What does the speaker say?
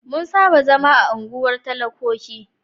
Mun saba zama a unguwar talakoki.